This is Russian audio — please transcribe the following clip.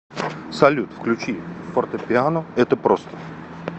салют включи фортепиано это просто